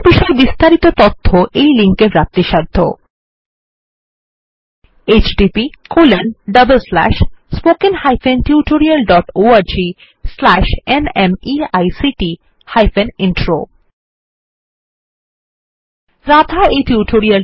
একই উপর আরো তথ্য নিম্নলিখিত লিঙ্ক httpspoken tutorialorgNMEICT Intro এ পাওয়া যায়